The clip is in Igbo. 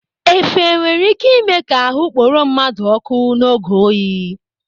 Efe nwere ị́ké ịme ka ahụ kporo mmadụ ọ́kụ́ n'oge oyi.